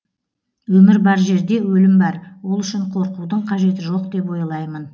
өмір бар жерде өлім бар ол үшін қорқудың қажеті жоқ деп ойлаймын